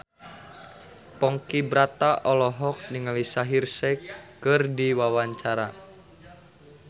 Ponky Brata olohok ningali Shaheer Sheikh keur diwawancara